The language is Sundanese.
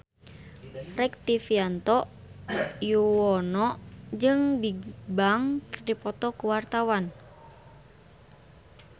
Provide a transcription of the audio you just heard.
Rektivianto Yoewono jeung Bigbang keur dipoto ku wartawan